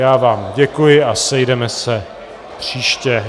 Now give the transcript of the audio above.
Já vám děkuji a sejdeme se příště.